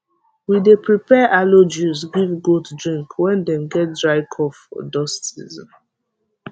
we dey prepare aloe juice give goat drink when dem get dry cough for dust season